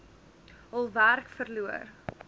hul werk verloor